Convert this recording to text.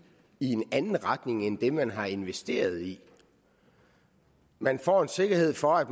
i en anden retning end den man har investeret i man får en sikkerhed for at